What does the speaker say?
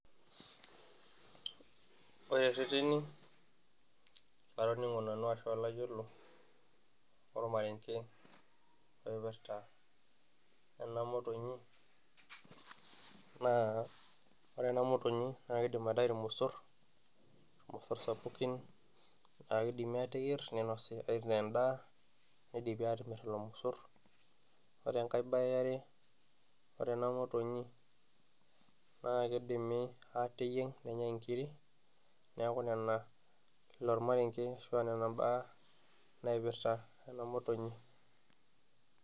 ore irreteni latoning'o nanu ashua layiolo lormarenge oipirrta ena motonyi naa ore ena motonyi naa kidim aitayu irmosorr, irmosorr sapukin laa kidimi ateyierr ninosi aitaa endaa nidimi atimirr lelo mosorr ore enkay baye eare ore ena motonyi naa kidimi ateyieng nenyai inkiri neeku nena ilo ormarenge ashu aa nena imbaa naipirrta ena motonyi.